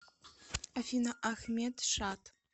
афина ахмед шад